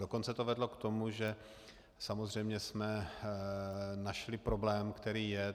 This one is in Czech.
Dokonce to vedlo k tomu, že samozřejmě jsme našli problém, který je.